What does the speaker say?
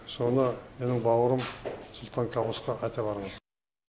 соны менің бауырым сұлтан кабусқа айта барыңыз